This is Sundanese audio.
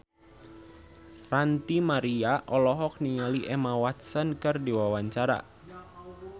Ranty Maria olohok ningali Emma Watson keur diwawancara